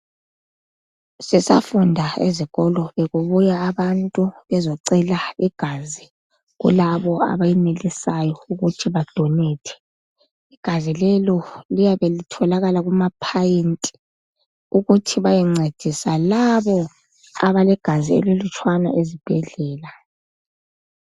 Sisafunda ezikolo bekubuya abantu bezocela igazi kulabo abenelisayo ukuthi bedonater igazi lelo liyabe litholakala kumaphayinti ukuthi liyengcedisa esibhedlela